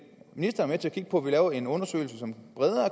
ministeren være med til at kigge på at lave en undersøgelse som